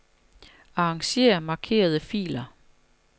Arranger markerede filer.